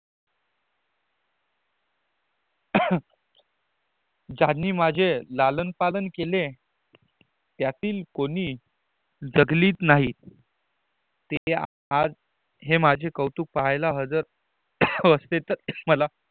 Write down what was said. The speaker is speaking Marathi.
ज्यांनी माझे लालन पालन केले. त्यातील कोणी जगलीच नाहीं ते आज माझे कौतुक हे पाहल्या हजर असते तर मला